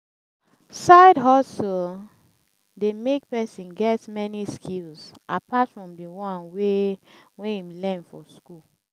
side hustle de make persin get many skills apart from di one wey wey im learn for school